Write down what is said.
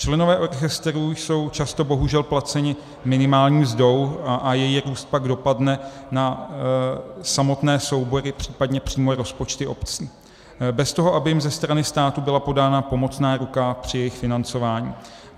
Členové orchestrů jsou často bohužel placeni minimální mzdou a její růst pak dopadne na samotné soubory, případně přímo rozpočty obcí, bez toho, aby jim ze strany státu byla podána pomocná ruka při jejich financování.